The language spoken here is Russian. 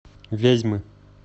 вязьмы